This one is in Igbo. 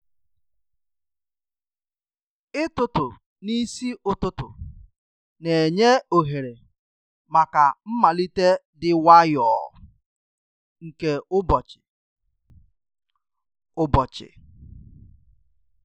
Ịtụtụ n’isi ụtụtụ na-enye ohere maka mmalite dị nwayọọ nke ụbọchị. ụbọchị.